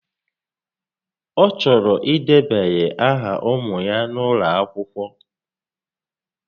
Ọ chọrọ idebanye áhà ụmụ ya n'ụlọakwụkwọ